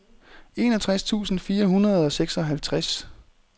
enogtres tusind fire hundrede og seksoghalvtreds